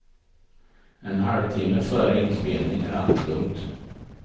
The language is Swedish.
En halvtimme före inspelning är allt lugnt.